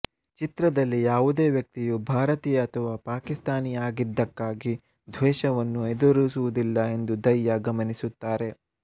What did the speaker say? ಚಿತ್ರದಲ್ಲಿ ಯಾವುದೇ ವ್ಯಕ್ತಿಯು ಭಾರತೀಯ ಅಥವಾ ಪಾಕಿಸ್ತಾನಿ ಆಗಿದ್ದಕ್ಕಾಗಿ ದ್ವೇಷವನ್ನು ಎದುರಿಸುವುದಿಲ್ಲ ಎಂದು ದೈಯಾ ಗಮನಿಸುತ್ತಾರೆ